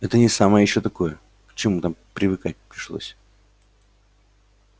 это не самое ещё такое к чему там привыкать пришлось